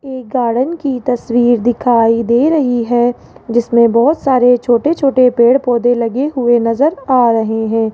एक गार्डन की तस्वीर दिखाई दे रही है जिसमें बहोत सारे छोटे छोटे पेड़ पौधे लगे हुए नजर आ रहे हैं।